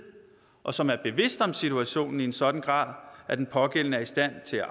og som er bevidst om situationen i en sådan grad at den pågældende er i stand til at